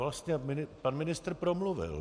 Vlastně pan ministr promluvil.